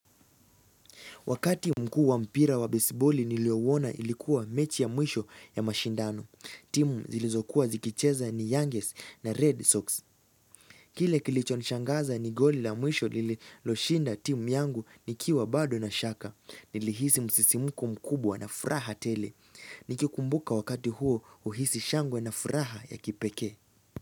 Wakati mkuu wa mpira wa besiboli niliouona ilikuwa mechi ya mwisho ya mashindano. Timu zilizokuwa zikicheza ni Youngest na Red Sox. Kile kilichonishangaza ni golil a mwisho lililoshinda timu yangu nikiwa bado na shaka. Nilihisi msisimko mkubwa na furaha tele. Nikikumbuka wakati huo huhisi shangwe na furaha ya kipekee.